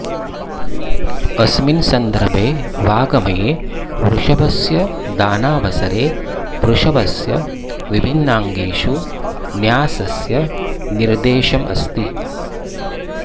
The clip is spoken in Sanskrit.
अस्मिन् संदर्भे वाङ्मये वृषभस्य दानावसरे वृषभस्य विभिन्नांगेषु न्यासस्य निर्देशमस्ति